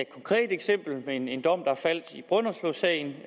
konkret eksempel med en en dom der faldt i brønderslevsagen